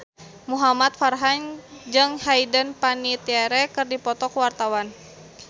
Muhamad Farhan jeung Hayden Panettiere keur dipoto ku wartawan